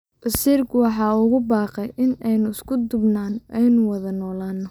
Wasiirku waxa uu ugu baaqay in aynu isku duubnano oo aynu wada noolaano.